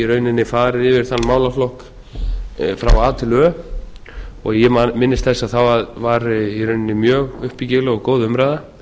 rauninni farið yfir þann málaflokk frá a til ö og ég minnist þess að það var í rauninni mjög uppbyggileg og góð umræða